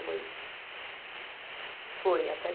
Foi até